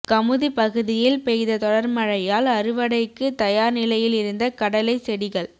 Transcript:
கமுதி பகுதியில் பெய்த தொடர்மழையால் அறுவடைக்கு தயார் நிலையில் இருந்த கடலை செடிகள்